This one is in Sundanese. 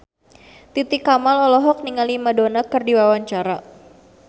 Titi Kamal olohok ningali Madonna keur diwawancara